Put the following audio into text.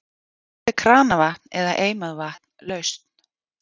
Hvort er kranavatn eða eimað vatn lausn?